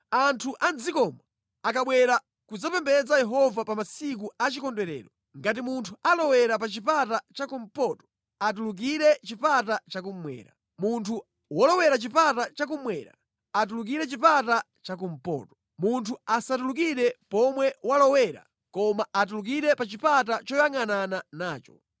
“Anthu a mʼdzikomo akabwera kudzapembedza Yehova pa masiku a chikondwerero, ngati munthu alowera pa chipata chakumpoto atulukire chipata chakummwera. Munthu wolowera chipata chakummwera, atulukire chipata chakumpoto. Munthu asatulukire pomwe walowera, koma atulukire pa chipata choyangʼanana nacho.